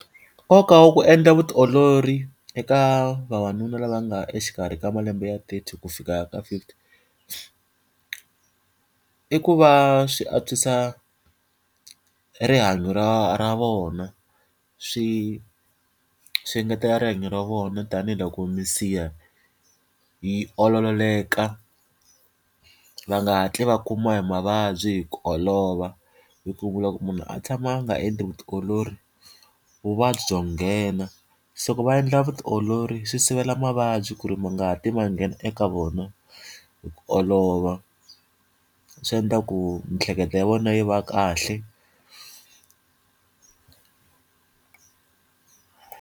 Nkoka wa ku endla vutiolori eka vavanuna lava nga exikarhi ka malembe ya thirty ku fika ka fifty, i ku va swi antswisa rihanyo ra ra vona. Swi swi engetela rihanyo ra vona tanihiloko minsiha yi olololeka, va nga hatli va kumiwa hi mavabyi hi ku olova. Hi ku vula ku munhu a tshama a nga endli vutiolori, vuvabyi byo nghena. Se loko va endla vutiolori, swi sivela mavabyi ku ri ma nga hatli ma nghena eka vona hi ku olova. Swi endla ku miehleketo ya vona yi va kahle.